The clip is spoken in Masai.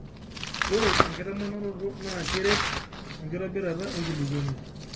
oe enkitamanaroto naa keret enkitobirata enkulukuoni